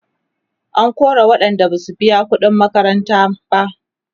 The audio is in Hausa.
an kora waƴanda Basu biya ƙuɗin makaranta ba